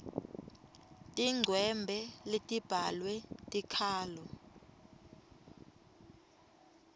tincwembe letibhalwe tikhalo